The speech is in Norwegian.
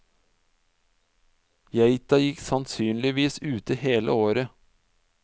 Geita gikk sannsynligvis ute hele året.